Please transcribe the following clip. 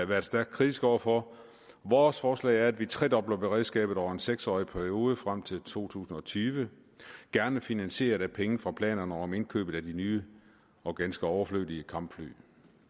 været stærkt kritiske over for vores forslag er at vi tredobler beredskabet over en seks årig periode frem til to tusind og tyve gerne finansieret af penge fra planerne om indkøbet af de nye og ganske overflødige kampfly